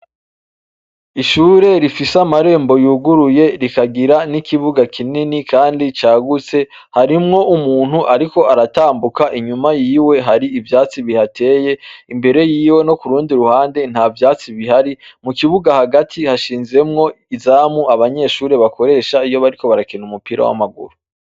Ishure rifise amarembo yuguruye rikagira n'ikibuga kinini, kandi cagutse harimwo umuntu, ariko aratambuka inyuma yiwe hari ivyatsi bihateye imbere yiwe no ku rundi ruhande nta vyatsi bihari mu kibuga hagati hashinzemwo izamu abanyeshure bakoresha iyo bariko barakerza ni umupira w'amaguru.